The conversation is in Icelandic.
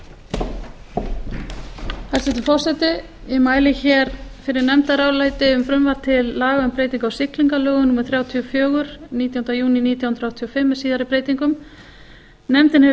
hæstvirtur forseti ég mæli hér fyrir nefndaráliti um frumvarp til laga um breytingu á siglingalögum númer þrjátíu og fjögur nítjánda júní nítján hundruð áttatíu og fimm með síðari breytingum nefndin hefur